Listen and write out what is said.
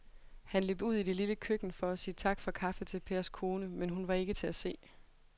Han løb ud i det lille køkken for at sige tak for kaffe til Pers kone, men hun var ikke til at se.